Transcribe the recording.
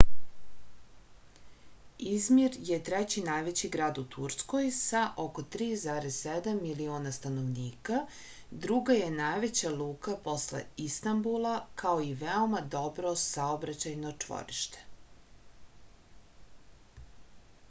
izmir je treći najveći grad u turskoj sa oko 3,7 miliona stanovnika druga je najveća luka posle istanbula kao i veoma dobro saobraćajno čvorište